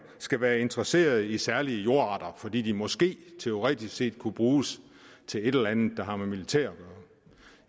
skal være interesseret i særlige jordarter fordi de måske teoretisk set kunne bruges til et eller andet der har med militæret